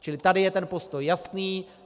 Čili tady je ten postoj jasný.